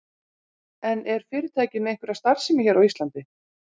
En er fyrirtækið með einhverja starfsemi hér á Íslandi?